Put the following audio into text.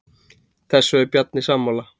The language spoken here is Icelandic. Þessu er Bjarni sammála.